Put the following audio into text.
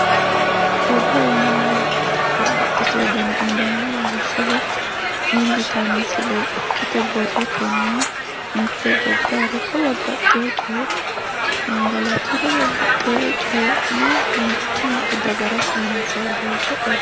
odoo yineemmowoyite babbaxxitino dani odoo no milli yitaho misilenni ikkito borrotenni mitte gobbayire ikko babbaxxinore gangalatuyire babbaxxinore coyi'ne mitte dagara sayinsayi doogooti.